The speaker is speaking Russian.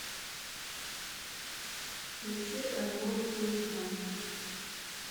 включи альбом хулиган